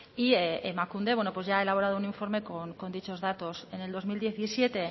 y emakunde ya ha elaborado un informe con dichos datos en el dos mil diecisiete